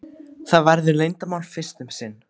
Það verður leyndarmál fyrst um sinn.